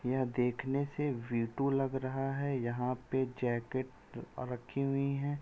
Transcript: यहाँ देखने से वीटू लग रहा है यहाँ पर जेकेट रखी हुई हैं।